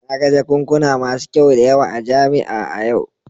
Na ga jakunkuna masu kyau da yawa a jami'a a yau